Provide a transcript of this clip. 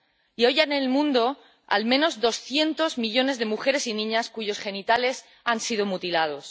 Y hoy hay en el mundo al menos doscientos millones de mujeres y niñas cuyos genitales han sido mutilados.